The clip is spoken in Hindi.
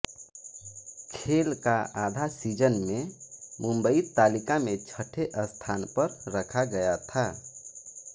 खेल का आधा सीज़न में मुम्बई तालिका में छठे स्थान पर रखा गया था